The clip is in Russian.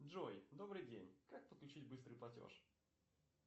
джой добрый день как подключить быстрый платеж